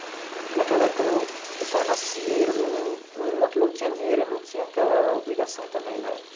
É que naquela época o pessoal nascia e eles não não... não é que não tinha dinheiro e não tinha aquela obrigação também, né?